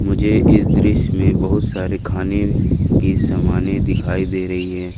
मुझे इस दृश्य में बहुत सारे खाने के सामाने दिखाई दे रही हैं।